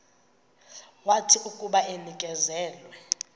wathi akuba enikezelwe